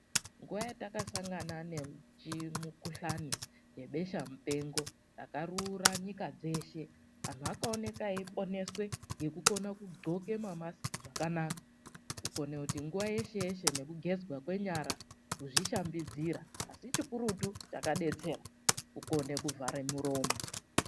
Nguva yatakasangana nechimukuhlani nebesha mupengo rakarura nyika dzeshe, anhu akaoneka eiponeswe ngekukona kudhloke mamasiki zvakanaka. Kukone kuti nguva yeshe yeshe nekugezwa kwenyara kuzvishambidzira. Asi chikurutu chakakadetsera, kukone kuvhare muromo.